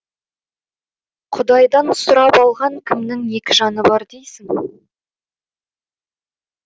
құдайдан сұрап алған кімнің екі жаны бар дейсің